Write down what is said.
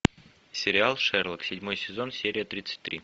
сериал шерлок седьмой сезон серия тридцать три